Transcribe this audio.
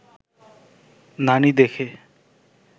নানি দেখে